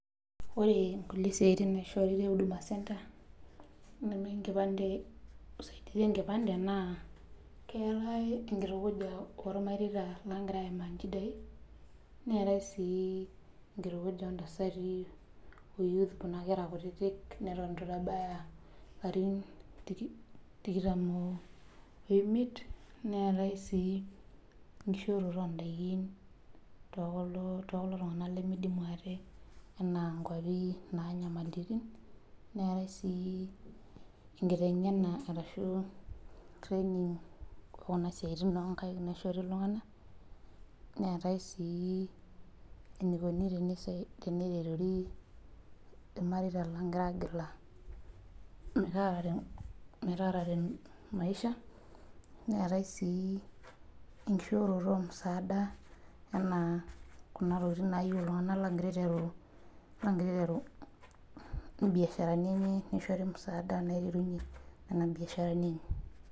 Ore kulie siatin naishoori te huduma center neme, enkipande, usaidiai enkipay, keetae enkitukuja ilmareita naagirae aaimaki, neetae sii enkitukuja oo ntasati o youth leitu itabaiki, ilarin tikitam oimier, neetae sii enkishooroto oo daikin, too kulo tunganak, neetae sii enkiteng'na ashu training oo Kuna siatin oo nkaik, neetae sii enikoni teneretori ilmareita lang', loogira agila, metaarare maisha neetae sii enkishooroto e tenkulo tunganak oogira aiteru biasharani enye, nishori musaada, naishoori musaadani enye.